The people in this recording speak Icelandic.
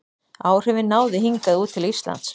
Áhrifin náðu hingað út til Íslands.